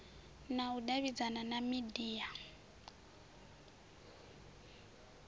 na u davhidzana na media